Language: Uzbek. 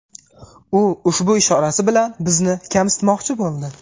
U ushbu ishorasi bilan bizni kamsitmoqchi bo‘ldi.